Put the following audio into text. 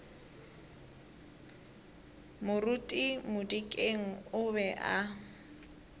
moruti modikeng o be a